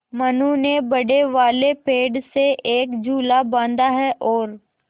मनु ने बड़े वाले पेड़ से एक झूला बाँधा है और